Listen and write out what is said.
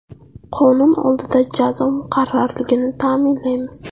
Qonun oldida jazo muqarrarligini ta’minlaymiz.